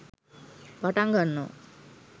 පටන් ගන්නවා.